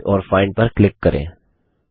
edit और find पर click करें